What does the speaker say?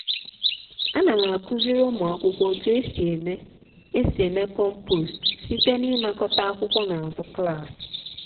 ana m akuziri ụmụ akwụkwọ otu esi eme esi eme compost site na ịnakọta akwụkwọ n'azụ klaasị.